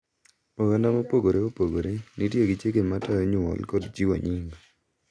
Oganda mopogore opogore nitie gi chike matayo nyuol kod chiwo nying.